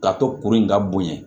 Ka to kuru in ka bonya